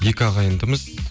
екі ағайындымыз